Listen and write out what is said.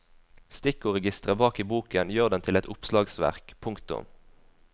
Stikkordregisteret bak i boken gjør den til et oppslagsverk. punktum